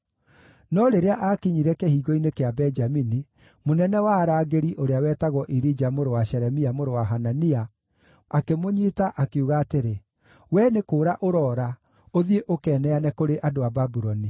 No rĩrĩa aakinyire Kĩhingo-inĩ kĩa Benjamini, mũnene wa arangĩri ũrĩa wetagwo Irija mũrũ wa Shelemia, mũrũ wa Hanania, akĩmũnyiita, akiuga atĩrĩ, “Wee nĩ kũũra ũroora ũthiĩ ũkeneane kũrĩ andũ a Babuloni!”